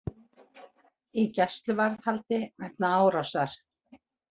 Í gæsluvarðhaldi vegna árásar